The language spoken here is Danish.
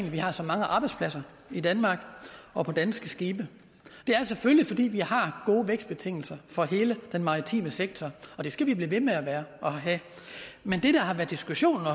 at vi har så mange arbejdspladser i danmark og på danske skibe det er selvfølgelig fordi vi har gode vækstbetingelser for hele den maritime sektor og det skal vi blive ved med at have men det der har været diskussionen og